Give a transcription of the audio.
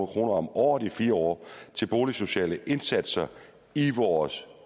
kroner om året i fire år til boligsociale indsatser i vores